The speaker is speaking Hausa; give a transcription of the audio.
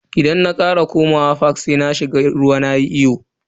Idan na kara komawa fak sai na shiga ruwa nayi iyo.